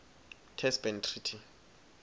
test ban treaty